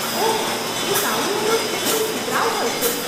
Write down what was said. ઓહ, એ સાડીઓ તો શુદ્ધ સુતરાઉ હોય છે.